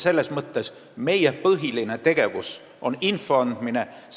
Selles mõttes on meie põhiline tegevus info andmine.